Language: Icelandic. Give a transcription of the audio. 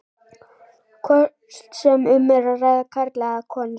hvort sem um er að ræða karla eða konur.